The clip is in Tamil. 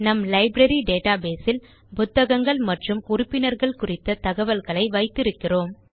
நம் லைப்ரரி டேட்டாபேஸ் இல் புத்தகங்கள் மற்றும் உறுப்பினர்கள் குறித்த தகவல்களை வைத்திருக்கிறோம்